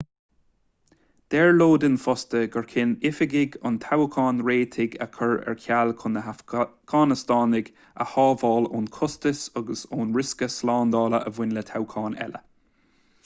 deir lodin fosta gur chinn oifigigh an toghcháin réitigh a chur ar ceall chun na hafganastánaigh a shábháil ón chostas agus ón riosca slándála a bhain le toghchán eile